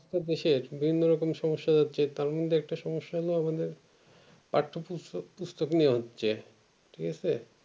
একটু বেশি বিভিন্ন রকমের সম্যসা আছে তার মধ্যে একটা সম্মো হলো আমাদের পাঠ্য পুস্তক নিয়ে হচ্ছে ঠিক আছে